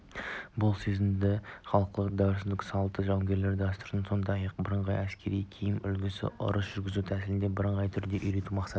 бұл сезімді халықтың дәстүр-салты жауынгерлік дәстүр сондай-ақ бірыңғай әскери киім үлгісі ұрыс жүргізу тәсілдеріне бірыңғай түрде үйрету мақсаттың